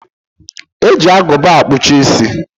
E ji Agụba akpụcha isi